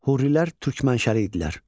Hurilər türk mənşəli idilər.